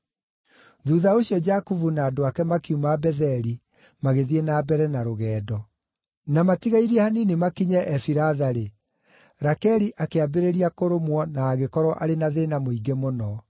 Thuutha ũcio Jakubu na andũ ake makiuma Betheli magĩthiĩ na mbere na rũgendo. Na matigairie hanini makinye Efiratha-rĩ, Rakeli akĩambĩrĩria kũrũmwo na agĩkorwo arĩ na thĩĩna mũingĩ mũno.